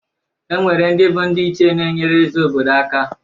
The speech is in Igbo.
E nwere ndị bụ ndị ichie na-enyere eze obodo aka.